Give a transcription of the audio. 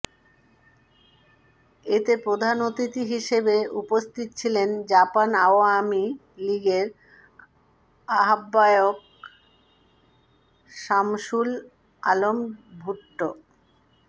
এতে প্রধান অতিথি হিসেবে উপস্থিত ছিলেন জাপান আওয়ামী লীগের আহ্বায়ক শামসুল আলম ভুট্ট